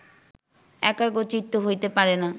একাগ্রচিত্ত হইতে পারে না